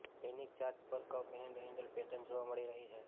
દૈનિક ચાર્ટ પર cup and handle pattern જોવા મળી રહી છે